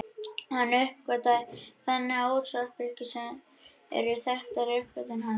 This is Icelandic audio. Hann uppgötvaði þannig útvarpsbylgjur sem eru þekktasta uppgötvun hans.